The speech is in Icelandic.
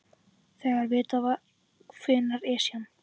Þegar vitað var hvenær Esjan